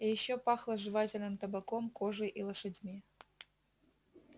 и ещё пахло жевательным табаком кожей и лошадьми